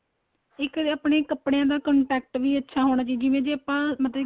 ਇੱਕ ਆਪਣੇਂ ਕੱਪੜਿਆਂ ਦਾ contact ਵੀ ਅੱਛਾ ਹੋਣਾ ਚਾਹੀਦਾ ਜਿਵੇਂ ਜੇ ਆਪਾਂ ਮਤਲਬ ਕੀ